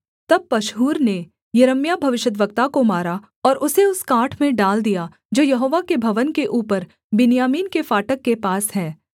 तब पशहूर ने यिर्मयाह भविष्यद्वक्ता को मारा और उसे उस काठ में डाल दिया जो यहोवा के भवन के ऊपर बिन्यामीन के फाटक के पास है